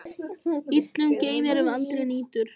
Illum geymir, ef aldrei nýtur.